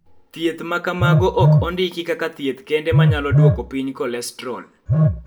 Thieth ma kamago ok ondiki kaka thieth kende ma nyalo duoko piny kolestrol.